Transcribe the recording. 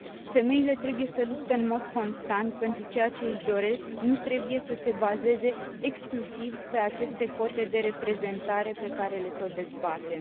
Femeile trebuie să lupte în mod constant pentru ceea ce își doresc, nu trebuie să se bazeze exclusiv pe aceste cote de reprezentare pe care le tot dezbatem